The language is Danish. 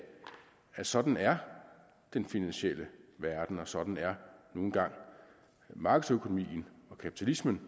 at sådan er den finansielle verden og sådan er nu engang markedsøkonomien og kapitalismen